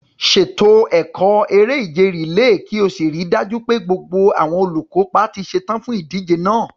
Ṣètò ẹ̀kọ́ eré-ìje rìléè kí o sì rí i dájú pé gbogbo àwọn olùkópa ti ṣetán fún ìdíje náà.